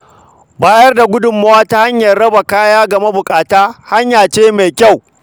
Ba da gudunmawa ta hanyar rabawa kaya ga mabuƙata hanya ce mai kyau.